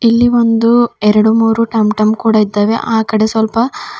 ಇಲ್ಲಿ ಒಂದು ಎರಡು ಮೂರು ಟಮ್ ಟಮ್ ಕೂಡ ಇದ್ದಾವೆ ಅಕಡೆ ಸ್ವಲ್ಪ --